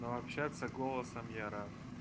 ну общаться голосом я рад